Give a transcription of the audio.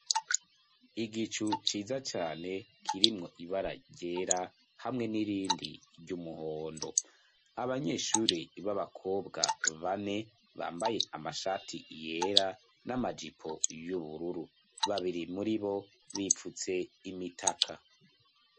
Igicu ciza cane kirimwo ibara ryera hamwe n'irindi ry'umuhondo. Abanyeshure b'abakobwa bambaye amashati yera n'amajipo y'ubururu . Babiri muri bo bipfutse imitaka.